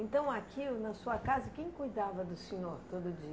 Então, aqui na sua casa, quem cuidava do senhor todo dia?